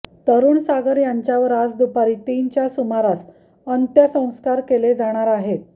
तरुण सागर यांच्यावर आज दुपारी तीनच्या सुमारास अंत्यसंस्कार केले जाणार आहेत